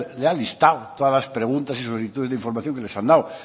le ha listado todas las preguntas y solicitudes de información que les han dado